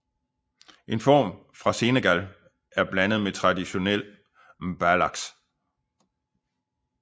En form fra Senegal er blandet med traditionel mbalax